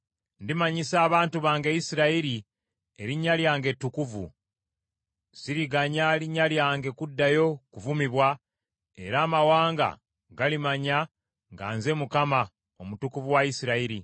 “ ‘Ndimanyisa abantu bange Isirayiri Erinnya lyange ettukuvu. Siriganya linnya lyange kuddayo kuvumibwa, era amawanga galimanya nga nze Mukama , Omutukuvu mu Isirayiri.